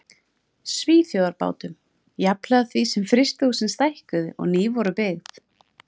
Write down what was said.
Svíþjóðarbátum, jafnhliða því sem frystihúsin stækkuðu og ný voru byggð.